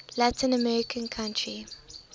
latin american country